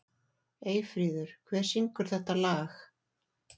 Eyfríður, hver syngur þetta lag?